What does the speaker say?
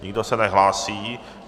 Nikdo se nehlásí.